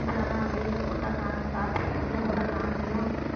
ஆனா வெயில்ல போட்டா காஞ்சி~ காத்துல வெளியில போட்டா காஞ்சிரும்